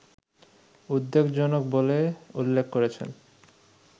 উদ্বেগজনক বলে উল্লেখ করেছেন